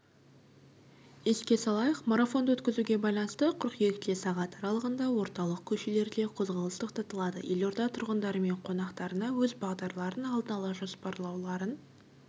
еске салайық марафонды өткізуге байланысты қыркүйекте сағат аралығында орталық көшелерде қозғалыс тоқтатылады елорда тұрғындары мен қонақтарына өз бағдарларын алдын ала жоспарлауларын